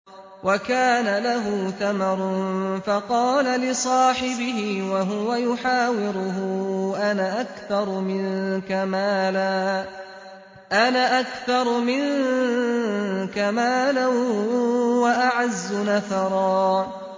وَكَانَ لَهُ ثَمَرٌ فَقَالَ لِصَاحِبِهِ وَهُوَ يُحَاوِرُهُ أَنَا أَكْثَرُ مِنكَ مَالًا وَأَعَزُّ نَفَرًا